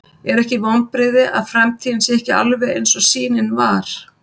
Er ekkert vonbrigði að framtíðin sé ekki alveg eins og sýnin var?